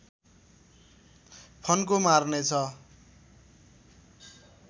फन्को मार्ने छ